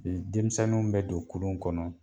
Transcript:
Denmisɛnnu bɛ don kurun kɔnɔ